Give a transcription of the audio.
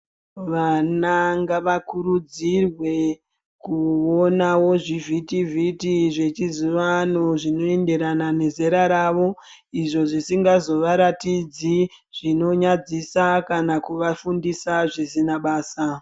Vana ngavakurudzirwe kuwonawo zvivhitivhiti, zvechizivano zvinoenderana nezera ravo, izvo zvisingazovaratidzi zvinonyadzisa, kana kuvafundisa zvisina basa.